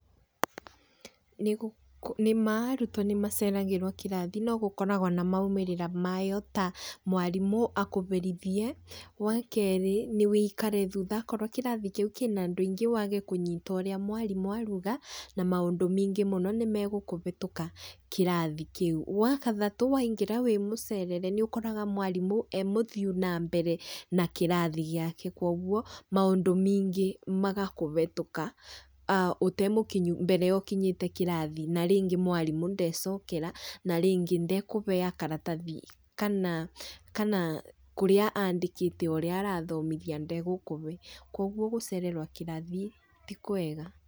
Nĩ ma arutwo nĩ maceragĩrwo kĩrathi no gũkoragwo na maumĩrĩra mayo ta mwarimũ akũberithie. Wa keerĩ nĩ wĩikare thutha akorwo kĩrathi kĩu kĩna andũ aingĩ waage kũnyita ũrĩa mwarimũ aruga, na maũndũ meingĩ mũno nĩ megũkũbĩtũka kĩrathi kĩu. Wa kathatũ waingĩra wĩ mũcerere nĩ ũkoraga mwarimũ e mũthiu na mbere na kĩrathi giake kuũguo maũndũ mĩingĩ magakũbetũka ũtemũkinyu mbere ya ũkinyĩte kĩrathi. Na rĩngĩ mwarimũ ndecokera, na rĩngĩ nde kũbea karatathi kana kũrĩa andĩkĩte ũrĩa arathomithia ndegũkũbe, kuũguo gũcererwo kĩrathi ti kwega.